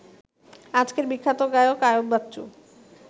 আজকের বিখ্যাত গায়ক আইয়ুব বাচ্চু